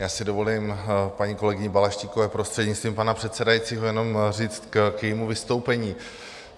Já si dovolím paní kolegyni Balaštíkové, prostřednictvím pana předsedajícího, jenom říct k jejímu vystoupení.